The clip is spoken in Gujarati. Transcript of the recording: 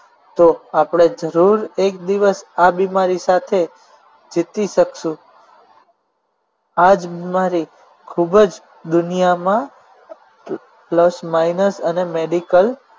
તો આપણે જરૂર એક દિવસ આ બીમારી સાથે જીતી શકશું આ જ બિમારી ખૂબ જ દુનિયામાં plus minus અને medical